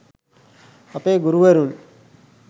අපේ ගුරුවරුන්